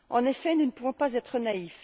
En effet, nous ne pouvons pas être naïfs.